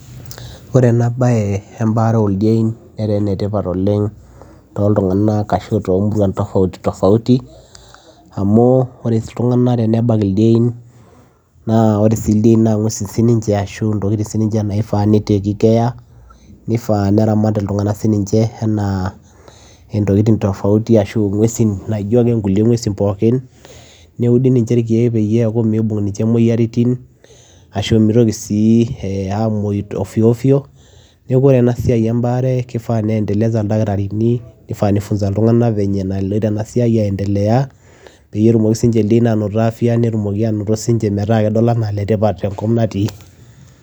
Oree enaa bayee eebare oo ildiein netaaa ene tipat too ilntunganak kumok amuu oree ilntunganak tenebak ildiein naa oree sii ninje ildiein naa kifaa nitekii care nifaa neratii ninyee enaa intokitin tofautii naijoo nkuluie nguesii pookin neudiu ninjee irkiek peyiee eekuu miibung ninje imoyiarin nimitokii aamuyuu ovyo ovyo[,cs]peyiee tumokii sii ninjee anotoo afya